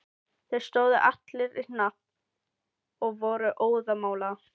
Þeir stóðu allir í hnapp og voru óðamála.